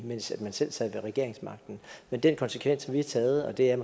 mens man selv sad ved regeringsmagten men den konsekvens har vi taget og det er